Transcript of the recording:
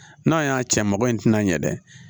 N'a y'a cɛ mago in tɛna ɲɛ dɛ